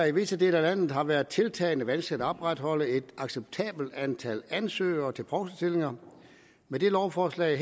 i visse dele af landet har været tiltagende vanskeligt at opretholde et acceptabelt antal ansøgere til provstestillinger med dette lovforslag